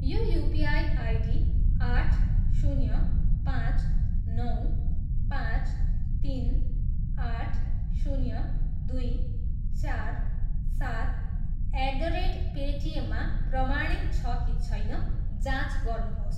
यो UPI ID आठ, शून्य, पाँच, नौ, पाँच, तिन, आठ, शून्य, दुई, चार, सात एट द रेट पेटिएम प्रमाणित छ कि छैन जाँच गर्नुहोस्।